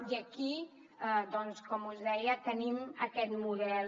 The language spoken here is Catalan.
i aquí doncs com us deia tenim aquest model